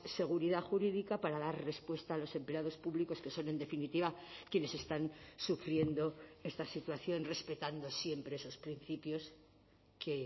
seguridad jurídica para dar respuesta a los empleados públicos que son en definitiva quienes están sufriendo esta situación respetando siempre esos principios que